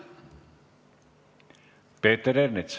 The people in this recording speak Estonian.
Peeter Ernits.